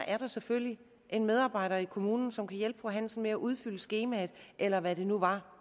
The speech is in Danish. er der selvfølgelig en medarbejder i kommunen som kan hjælpe fru hansen med at udfylde skemaet eller hvad det nu er